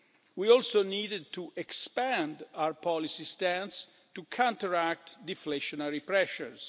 We also needed to expand our policy stance to counteract deflationary pressures.